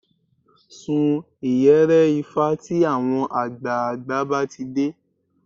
Sun ìyẹ̀rẹ̀ ifá tí àwọn àgbààgbà bá ti dé